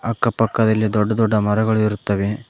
ಅಕ್ಕ ಪಕ್ಕದಲ್ಲಿ ದೊಡ್ಡ ದೊಡ್ಡ ಮರಗಳಿರುತ್ತವೆ.